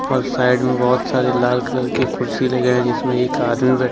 और साइड में बहुत सारी लाल कलर की कुर्सी लगाई जिसमें एक आदमी बे--